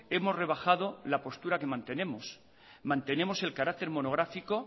hemos rebajado la postura que mantenemos mantenemos el carácter monográfico